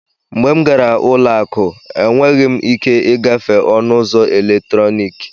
Mgbe m gara ụlọ akụ, enweghị m ike ịgafe ọnụ ụzọ eletrọnịkị.